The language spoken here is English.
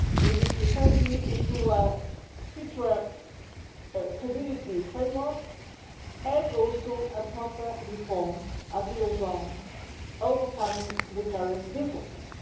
We need to turn these into a future Community framework and also a proper reform of the eurozone, overcoming the current differences.